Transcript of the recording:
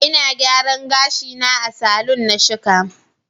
Ina gyaran gashi na a salon na shika.